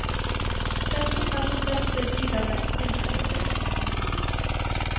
Setninger som dette lyder lettvinte på trykk.